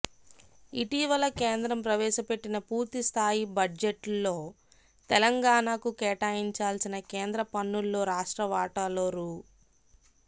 ఇటీవల కేంద్రం ప్రవేశపెట్టిన పూర్తిస్థాయి బడ్జెట్లో తెలంగాణకు కేటాయించాల్సిన కేంద్ర ప్రన్నుల్లో రాష్ట్ర వాటాలో రూ